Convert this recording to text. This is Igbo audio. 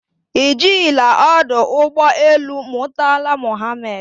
Ị jila ọdọ ụgbọ elu Murtala Mohammed mbụ?